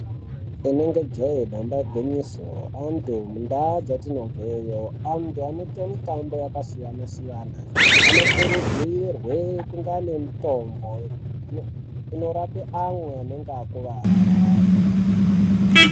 Inenge jee damba igwinyiso anthu mundaa dzatinobveyo anthu anoita mitambo yakasiyana siyana anokurudzirwe kunga nemitombo inorape amwe anenge akuvara.